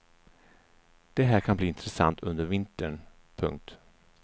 Det här kan bli intressant under vintern. punkt